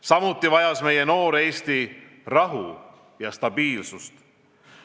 Samuti vajas meie noor Eesti rahu ja stabiilsust.